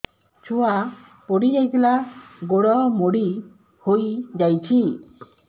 ଛୁଆ ପଡିଯାଇଥିଲା ଗୋଡ ମୋଡ଼ି ହୋଇଯାଇଛି